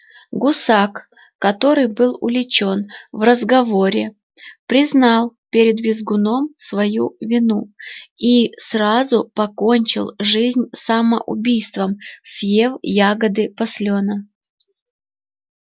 гусак который был уличён в разговоре признал перед визгуном свою вину и сразу покончил жизнь самоубийством съев ягоды паслёна